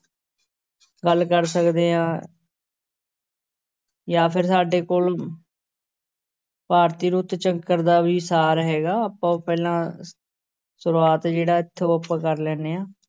ਗੱਲ ਕਰ ਸਕਦੇ ਹਾਂ ਜਾਂ ਫਿਰ ਸਾਡੇ ਕੋਲ ਭਾਰਤੀ ਰੁੱਤ ਚੱਕਰ ਦਾ ਵੀ ਸਾਰ ਹੈਗਾ ਆਪਾਂ ਪਹਿਲਾਂ ਸ਼ੁਰੂਆਤ ਜਿਹੜਾ ਇੱਥੋਂ ਆਪਾਂ ਕਰ ਲੈਂਦੇ ਹਾਂ।